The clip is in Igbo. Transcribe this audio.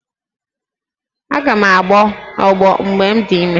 Aga m agbọ ọgbọ mgbe m dị ime?